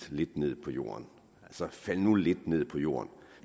lidt ned på jorden altså faldt nu lidt ned på jorden